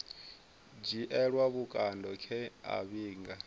dzhielwa vhukando nge a vhiga